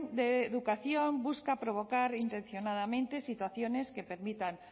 de educación busca provocar intencionadamente situaciones que permitan